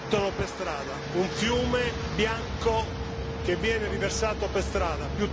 Lo buttano per strada, un fiume bianco che viene riversato per strada.